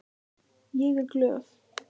Ég er glöð.